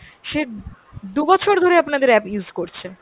সে দু'বছর ধরে আপনাদের app use করছে।